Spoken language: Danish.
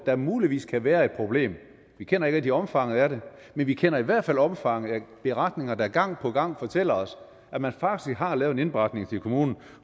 der muligvis kan være et problem vi kender ikke rigtig omfanget af det men vi kender i hvert fald omfanget af beretninger der gang på gang fortæller os at man faktisk har lavet en indberetning til kommunen